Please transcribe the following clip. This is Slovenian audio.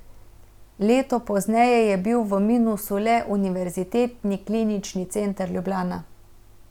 Leto pozneje je bil v minusu le Univerzitetni klinični center Ljubljana.